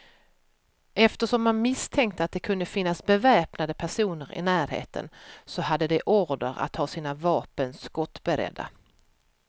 Eftersom man misstänkte att det kunde finnas beväpnade personer i närheten, så hade de order att ha sina vapen skottberedda.